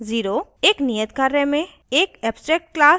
एक नियत कार्य में एक abstract class student बनायें